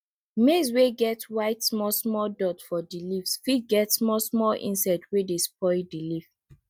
maize wey get white small small dot for di leave fit get small small insect wey dey spoil di leave